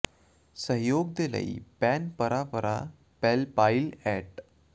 ਸਹਿਯੋਗ ਦੇ ਲਈ ਪੈਨ ਪਰਾ ਪਰਾ ਪੈਲ ਪਾਇਲ ਐਟ